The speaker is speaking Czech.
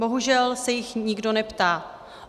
Bohužel se jich nikdo neptá.